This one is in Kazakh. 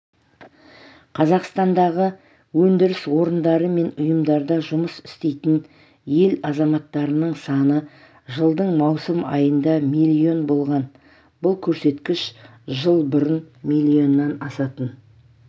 қазақстандағы өндіріс орындары мен ұйымдарда жұмыс істейтін ел азаматтарының саны жылдың маусым айында миллион болған бұл көрсеткіш жыл бұрын миллионнан асатын